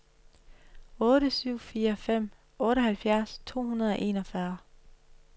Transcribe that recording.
otte syv fire fem otteoghalvfjerds to hundrede og enogfyrre